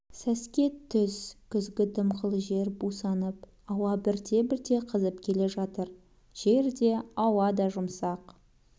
сәске түс күзгі дымқыл жер бусанып ауа бірте-бірте қызып келе жатыр жер де ауа да жұмсақ